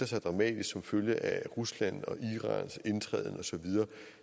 sig dramatisk som følge af ruslands og irans indtræden og så videre